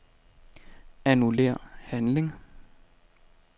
Annullér handling.